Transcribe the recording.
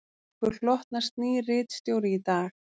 Okkur hlotnast nýr ritstjóri í dag